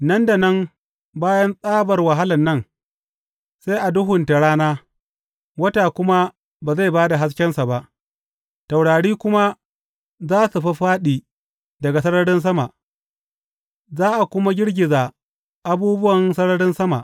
Nan da nan bayan tsabar wahalan nan sai a duhunta rana, wata kuma ba zai ba da haskensa ba; taurari kuma za su fāffāɗi daga sararin sama, za a kuma girgiza abubuwan sararin sama.’